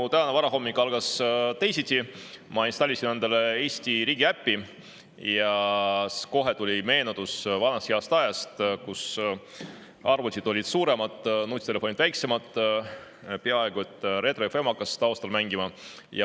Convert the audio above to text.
Mu tänane varahommik algas teisiti: ma installisin endale Eesti riigiäpi ja kohe tuli meelde vana hea aeg, kui arvutid olid suuremad ja nutitelefonid väiksemad, peaaegu et hakkas Retro FM taustal mängima.